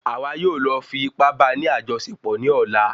Àwa yóò lọ fi ipá bá ní àjọṣepọ̀ ní ọ̀la